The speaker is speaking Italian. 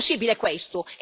È possibile questo?